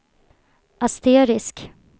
asterisk